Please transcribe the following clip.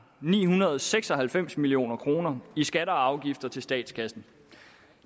og nihundrede og seksoghalvfems million kroner i skatter og afgifter til statskassen